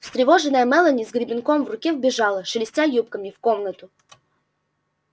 встревоженная мелани с гребенком в руке вбежала шелестя юбками в комнату